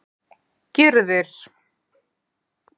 Gyrðir